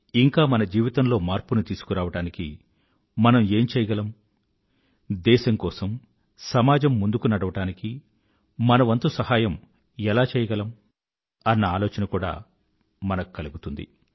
ఇంకా మన జీవితంలో మార్పుని తీసుకురావడానికి మనం ఏం చెయ్యగలము దేశం కోసం సమాజం ముందుకు నడవడానికి మన వంతు సహాయం ఏం చెయ్యగలము అన్న ఆలోచన కూడా కలుగుతుంది